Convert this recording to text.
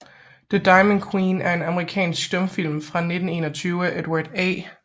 The Diamond Queen er en amerikansk stumfilm fra 1921 af Edward A